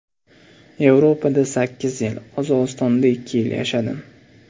Yevropada sakkiz yil, Qozog‘istonda ikki yil yashadim.